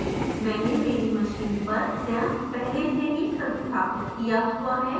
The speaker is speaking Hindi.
मैंने मेरी machine पर xampp पहले से ही संस्थापित किया हुआ है